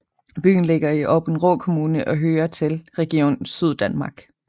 Byen ligger i Aabenraa Kommune og hører til Region Syddanmark